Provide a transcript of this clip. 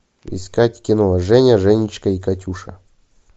искать кино женя женечка и катюша